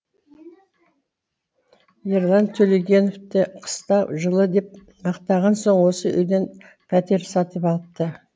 ерлан төлегеновте қыста жылы деп мақтаған соң осы үйден пәтер сатып алыпты